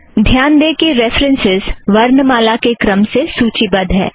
ध्यान दें कि रेफ़रन्सस् वर्णमाला के क्रम से सूची बद्ध है